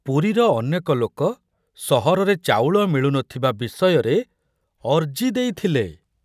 ପୁରୀର ଅନେକ ଲୋକ ସହରରେ ଚାଉଳ ମିଳୁ ନଥିବା ବିଷୟରେ ଅର୍ଜି ଦେଇଥିଲେ।